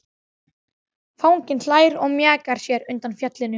Fanginn hlær og mjakar sér undan fjallinu.